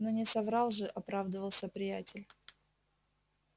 но не соврал же оправдывался приятель